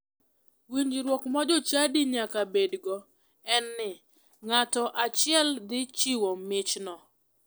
Winjruok ma jochadi nyaka bedgo en ni nga'to achiel dhi chiwo michno.